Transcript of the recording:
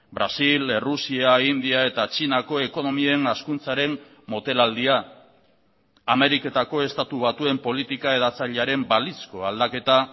brasil errusia india eta txinako ekonomien hazkuntzaren motelaldia ameriketako estatu batuen politika hedatzailearen balizko aldaketa